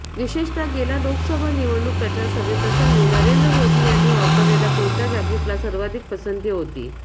विशेषतः गेल्या लोकसभा निवडणूक प्रचार सभेप्रसंगी नरेंद्र मोदी यांनी वापरलेल्या कुर्ता जाकीटला सर्वाधिक पसंती होती